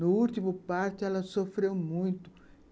No último parto, ela sofreu muito.